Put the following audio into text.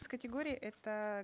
с категории это